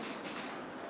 Yaxşı, yaxşı.